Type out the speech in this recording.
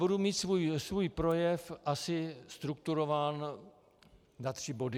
Budu mít svůj projev asi strukturován na tři body.